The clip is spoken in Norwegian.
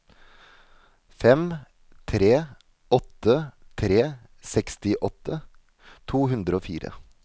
fem tre åtte tre sekstiåtte to hundre og fire